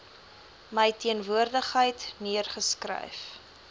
my teenwoordigheid neergeskryf